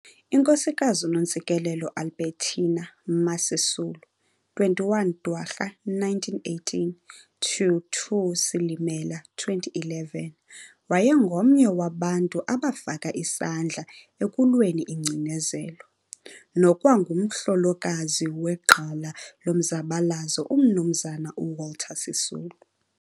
iNkosikazi uNontsikelelo Albertina "Ma" Sisulu, 21 Dwarha 1918 to 2 Silimela 2011, wayengomnye wabantu abafaka isandla ekulweni ingcinezelo, nokwangumhlolokazi wegqala lomzabalazo uMnumzana uWalter Sisulu.